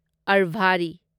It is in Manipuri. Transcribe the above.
ꯑꯔꯚꯥꯔꯤ